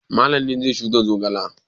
Malam ne zai shuka zogale.